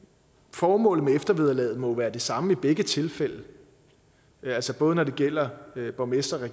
formålet med eftervederlaget må jo være det samme i begge tilfælde altså både når det gælder borgmestre og